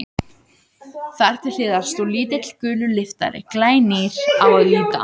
Þar til hliðar stóð lítill, gulur lyftari, glænýr á að líta.